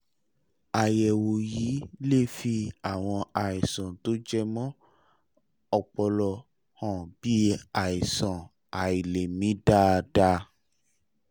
àyẹ̀wò yìí lè fi àwọn àìsàn tó jẹmọ́ ọpọlọ hàn bí àìsàn àìlèmí dáadáa